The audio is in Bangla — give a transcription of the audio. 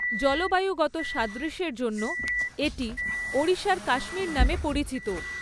জলবায়ুগত সাদৃশ্যের জন্য এটি 'ওড়িশার কাশ্মীর' নামে পরিচিত।